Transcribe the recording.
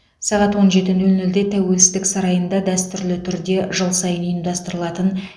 сағат он жеті нөл нөлде тәуелсіздік сарайында дәстүрлі түрде жыл сайын ұйымдастырылатын